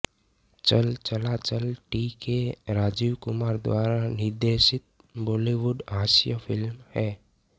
चल Chala Chal T K Rajiv Kumar द्वारा निर्देशित बॉलीवुड हास्य फ़िल्म है